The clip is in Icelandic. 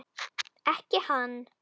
Ekki hann.